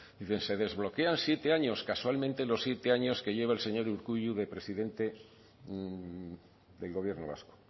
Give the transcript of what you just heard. dice se desbloquean siete años casualmente los siete años que lleva el señor urkullu de presidente del gobierno vasco